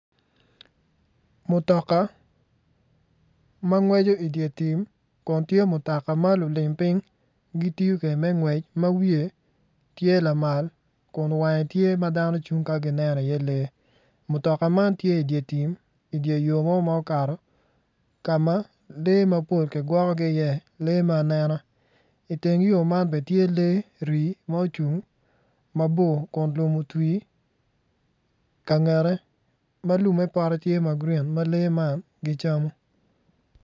Mutoka ma ngweco dye tim kun tye mutoka ma lulim piny gitiyo kwede me ngwec ma wiye tye lamal kun wange tye ma dano cung ka gineno iye lee mutoka man tye idye tim idye yo mo ma okato ka ma lee mappol kigwokogi iye lee me anena iteng yo man bene tye lee rii ma ocung mabor kun lum otwi ka ngette ma lumme pote tye ma grin ma lee man gicamo.